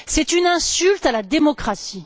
C'est une insulte à la démocratie.